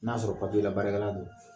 N'a sɔrɔ labaarakɛla don